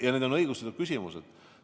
Ja need on õigustatud küsimused.